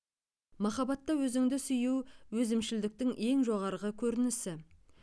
махаббатта өзіңді сүю өзімшілдіктің ең жоғарғы көрінісі